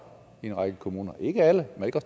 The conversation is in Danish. i en række kommuner ikke alle men